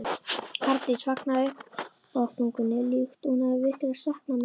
Arndís fagnaði uppástungunni líkt og hún hefði virkilega saknað mín.